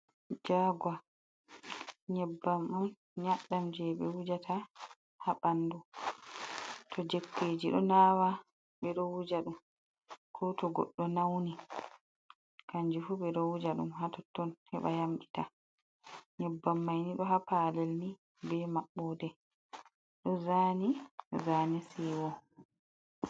Jaagwa, nyebbam on, nyaɗɗam je ɓe wujata ha ɓandu. To jokkeji ɗo nawa, ɓe ɗo wuja ɗum. Ko to goɗɗo nauni kanju fu ɓe ɗo wuja ɗum ha totton, heɓa yamɓita. nyebbam mai ni, ɗo ha palel ni be maɓɓode, ɗo zaani zaane siiwo.